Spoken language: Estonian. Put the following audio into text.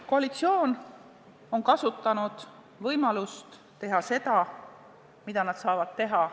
Koalitsioon on kasutanud võimalust teha seda, mida nad saavad teha.